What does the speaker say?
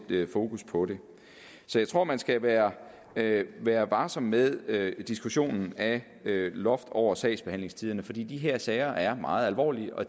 fokus på det så jeg tror at man skal være være varsom med diskussionen af et loft over sagsbehandlingstiderne fordi de her sager er meget alvorlige og